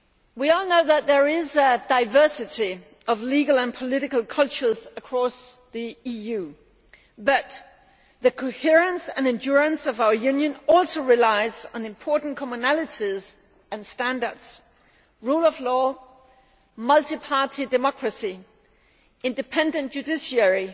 We all know that there is a diversity of legal and political cultures across the EU, but the coherence and endurance of our Union also relies on important commonalities and standards the rule of law, multi party democracy, independent judiciary,